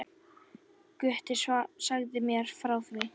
Gutti sagði mér frá því.